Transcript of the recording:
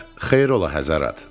Xeyr ola həzərat.